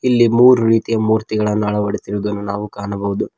ಇಲ್ಲಿ ಮೂರು ರೀತಿಯ ಮೂರ್ತಿಗಳನ್ನು ಅಳವಡಿಸಿರುವುದನ್ನು ನಾವು ಕಾಣಬಹುದು.